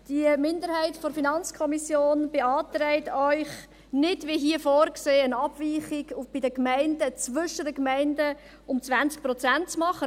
Die Minderheit der FiKo beantragt Ihnen, nicht wie hier vorgesehen eine Abweichung zwischen den Gemeinden von 20 Prozent zu machen.